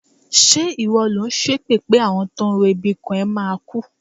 Ṣé ìwọ lò ń ṣépè pé àwọn tó ń ro ibi kàn ẹ́ máa kú?